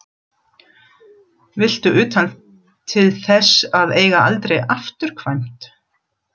Viltu utan til þess að eiga aldrei afturkvæmt?